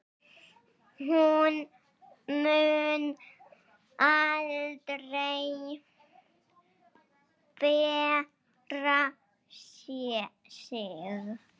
Hún mun aldrei bera sig.